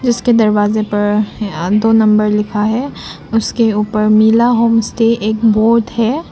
उसके दरवाजे पर ए दो नंबर लिखा है उसके ऊपर मिला होमस्टे एक बोर्ड है।